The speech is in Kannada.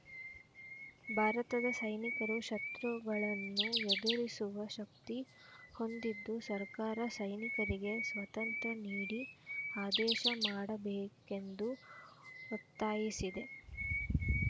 ಭಾರತದ ಸೈನಿಕರು ಶತ್ರಗಳನ್ನು ಎದುರಿಸುವ ಶಕ್ತಿ ಹೊಂದಿದ್ದು ಸರ್ಕಾರ ಸೈನಿಕರಿಗೆ ಸ್ವಾತಂತ್ರ ನೀಡಿ ಆದೇಶ ಮಾಡಬೇಕೆಂದು ಒತ್ತಾಯಿಸಿದೆ